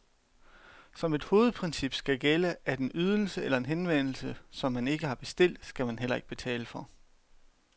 Som et hovedprincip skal gælde, at en ydelse eller en henvendelse, som man ikke har bestilt, skal man heller ikke betale for.